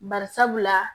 Bari sabula